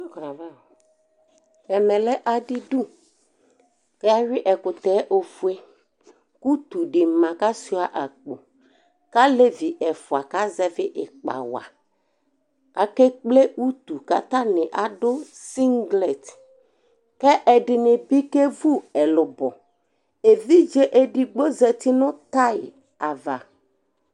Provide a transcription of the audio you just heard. Ɛmɛ lɛ adɩdu kʋ ayʋɩ ɛkʋtɛ yɛ ofue kʋ utu dɩ ma kʋ asʋɩa akpo kʋ alevi ɛfʋa kazɛvɩ ɩkpa wa Akekple utu kʋ atanɩ adʋ sɩŋglɛt kʋ ɛdɩnɩ bɩ kewu ɛlʋbɔ Evidze edigbo zati nʋ tay ava